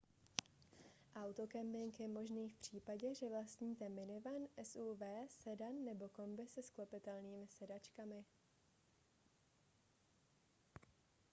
autokemping je možný v případě že vlastníte minivan suv sedan nebo kombi se sklopitelnými sedačkami